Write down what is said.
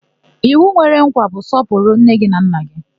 Iwu nwere nkwa bụ 'sọpụrụ nne na nna gị'